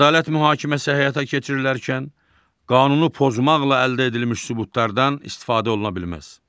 Ədalət mühakiməsi həyata keçirilərkən, qanunu pozmaqla əldə edilmiş sübutlardan istifadə oluna bilməz.